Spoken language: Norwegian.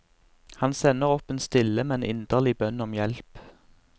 Han sender opp en stille, men inderlig bønn om hjelp.